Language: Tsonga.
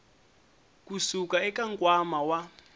ku suka eka nkwama wa